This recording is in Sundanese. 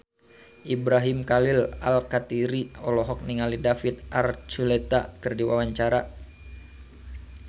Ibrahim Khalil Alkatiri olohok ningali David Archuletta keur diwawancara